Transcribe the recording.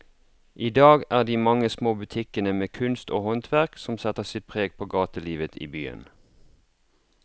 I dag er det de mange små butikkene med kunst og håndverk som setter sitt preg på gatelivet i byen.